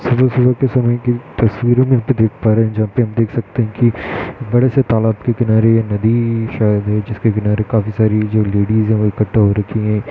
सुबह-सुबह के समय की तस्वीरें देख पा रहें हैं। जहाँ पे हम देख सकते हैं। कि बड़े से तालाब के किनारे ये नदी शायद है। जिसके किनारे काफी सारी जो लेडीज़ हैं। वो इकठ्ठा हो रखीं हैं।